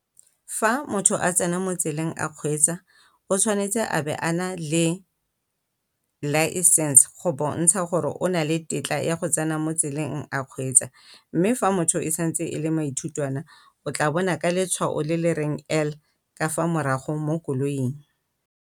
Fa motho a tsena mo tseleng a kgweetsa o tshwanetse a be a na le license go bontsha gore o na le tetla ya go tse tsena motseleng kgweetsa, mme motho fa e santse e le maithutwana o tla bona ka letswao le le reng L ka fa morago mo koloing.